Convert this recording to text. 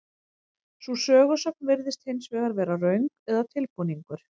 Sú sögusögn virðist hins vegar vera röng eða tilbúningur.